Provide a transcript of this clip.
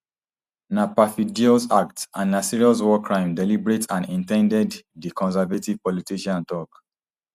na perfidious act and na serious war crime deliberate and in ten ded di conservative politician tok